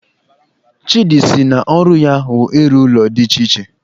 Chidi sị na ọru ya wu ịru ụlọ dị iche iche